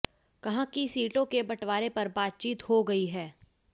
कहा कि सीटों के बंटवारे पर बातचीत हो गयी है